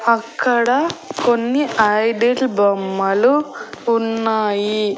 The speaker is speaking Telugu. అక్కడ కొన్ని ఐడల్ బొమ్మలు ఉన్నాయి.